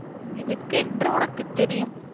எதுக்கு என்று உனக்கு தெரியும்